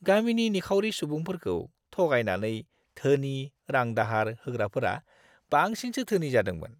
गामिनि निखावरि सुबुंफोरखौ थगायनानै धोनि रां-दाहार होग्राफोरा बांसिनसो धोनि जादोंमोन!